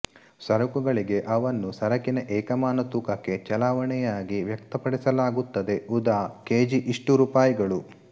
ಸರಕುಗಳಿಗೆ ಅವನ್ನು ಸರಕಿನ ಏಕಮಾನ ತೂಕಕ್ಕೆ ಚಲಾವಣೆಯಾಗಿ ವ್ಯಕ್ತಪಡಿಸಲಾಗುತ್ತದೆ ಉದಾ ಕೆ ಜಿ ಇಷ್ಟು ರೂಪಾಯಿಗಳು